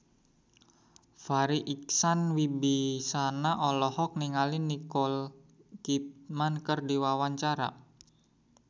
Farri Icksan Wibisana olohok ningali Nicole Kidman keur diwawancara